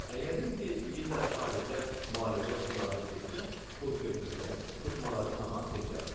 Əgər indi deyirlər xaricə müalicə sularına getsə, kurs götürsə, tutmaları tamam keçər.